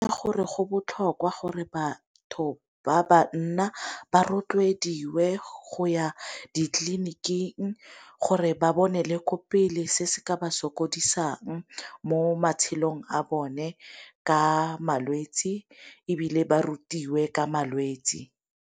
Gore go botlhokwa gore batho ba banna ba rotloediwe go ya ditleliniking gore ba bone le ko pele se se ka ba sokodisang mo matshelong a bone ka malwetsi, ebile ba rutiwe ka malwetsi.